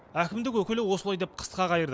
әкімдік өкілі осылай деп қысқа қайырды